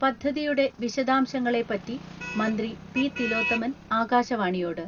പദ്ധതിയുടെ വിശദാംശങ്ങളെപ്പറ്റി മന്ത്രി പി.തിലോത്തമൻ ആകാശവാണിയോട്..